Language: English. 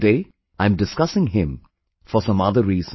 But today I am discussing him for some other reason